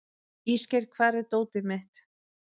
Ísgeir, hvar er dótið mitt?